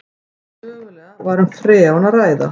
Mögulega var um freon að ræða